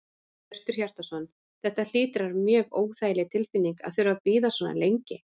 Hjörtur Hjartarson: Þetta hlýtur að vera mjög óþægileg tilfinning að þurfa að bíða svona lengi?